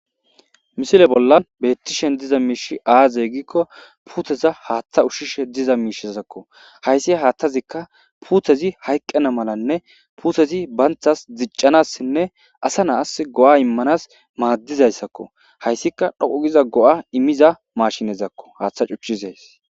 Misile bollan beettishen diza miishi aaze gikko puuteza haaththa ushshishe diza miishessakko hayssi haaththazikka puuthezi hayqqena malanne puuthezi banthas dziccanassinne asa naas go'a immanas maaddizayssakko hayssika dhoqugiza go'a imiza mashinezakko haaththa cuchchizays.